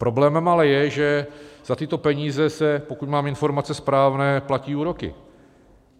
Problémem ale je, že za tyto peníze se - pokud mám informace správné - platí úroky.